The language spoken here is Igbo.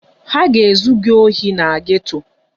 Ha ga-ezu gị ohi na geto.